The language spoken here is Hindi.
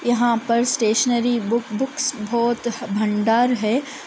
यहाँ पर स्टेशनरी बुक बुक्स बहुत भंडार है।